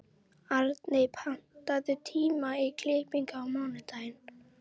Arney, pantaðu tíma í klippingu á mánudaginn.